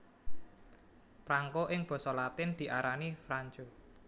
Prangko ing basa latin diarani franco